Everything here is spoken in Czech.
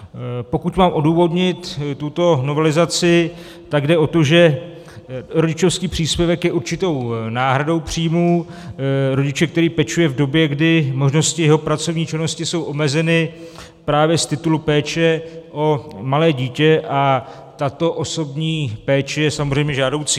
Pokud mám odůvodnit tuto novelizaci, tak jde o to, že rodičovský příspěvek je určitou náhradou příjmu rodiče, který pečuje v době, kdy možnosti jeho pracovní činnosti jsou omezeny právě z titulu péče o malé dítě, a tato osobní péče je samozřejmě žádoucí.